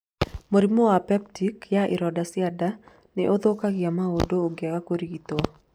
Mũrimũ wa peptic ya ironda cia nda nĩ ũthũkagia maũndũ ũngĩaga kũrigito.